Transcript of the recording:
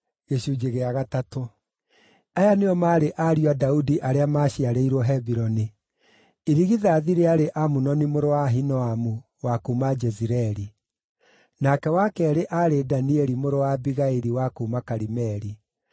Aya nĩo maarĩ ariũ a Daudi arĩa maaciarĩirwo Hebironi: Irigithathi rĩarĩ Amunoni mũrũ wa Ahinoamu wa kuuma Jezireeli; nake wa keerĩ aarĩ Danieli mũrũ wa Abigaili wa kuuma Karimeli;